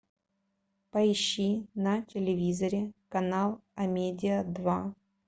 поищи на телевизоре канал амедиа два